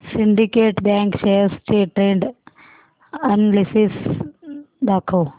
Syndicate Bank shares चे trend analysis दाखव